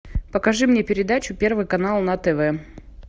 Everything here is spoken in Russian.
покажи мне передачу первый канал на тв